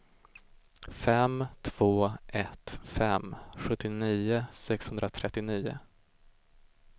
fem två ett fem sjuttionio sexhundratrettionio